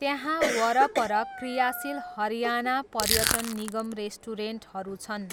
त्यहाँ वरपर क्रियाशील हरियाणा पर्यटन निगम रेस्टुरेन्टहरू छन्।